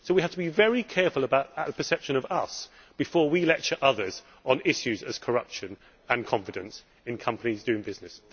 So we have to be very careful about the perception of us' before we lecture others on issues such as corruption and confidence in companies doing business.